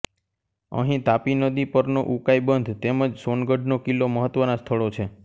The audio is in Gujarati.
અહીં તાપી નદી પરનો ઉકાઇ બંધ તેમ જ સોનગઢનો કિલ્લો મહત્વનાં સ્થળો છે